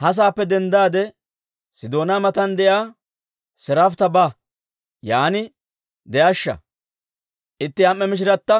«Ha saappe denddaade, Sidoona matan de'iyaa Siraafita ba; yaan de'ashsha. Itti am"e mishiratta